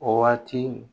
O waati